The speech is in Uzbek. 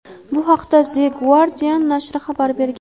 Bu haqda "The Guardian" nashri xabar bergan.